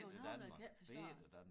Københavnere kan ikke forstå det